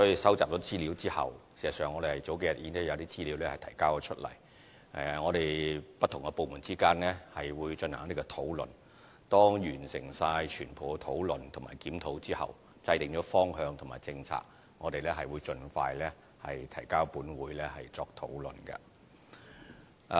事實上，我們數天前已收集了有關資料，我們不同部門之間會進行討論；當完成全部的討論及檢討，並制訂了方向和政策後，我們會盡快提交立法會作討論。